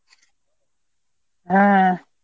হ্যাঁ।